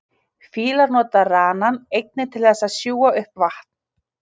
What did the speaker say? fílar nota ranann einnig til þess að sjúga upp vatn